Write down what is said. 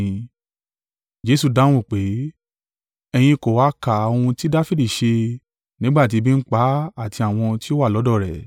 Jesu dáhùn pé, “Ẹ̀yin kò ha ka ohun tí Dafidi ṣe nígbà tí ebi ń pa á àti àwọn tí ó wà lọ́dọ̀ rẹ̀.